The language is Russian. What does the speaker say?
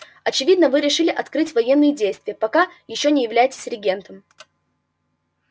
очевидно вы решили открыть военные действия пока ещё не являетесь регентом